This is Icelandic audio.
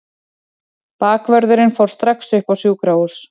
Bakvörðurinn fór strax upp á sjúkrahús.